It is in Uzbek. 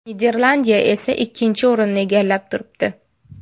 Niderlandiya esa ikkinchi o‘rinni egallab turibdi.